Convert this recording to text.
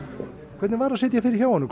hvernig var að sitja fyrir hjá honum